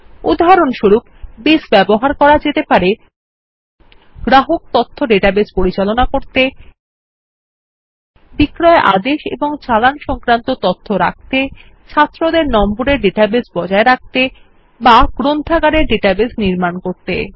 উদাহরণস্বরূপ বেস ব্যবহার করা যেতে পারে গ্রাহক তথ্য ডেটাবেস পরিচালনা করতে বিক্রয় আদেশ এবং চালান সংক্রান্ত তথ্য রাখতে ছাত্রদের নম্বরের ডেটাবেস বজায় রাখতে বা গ্রন্থাগারের ডাটাবেস নির্মাণ করতে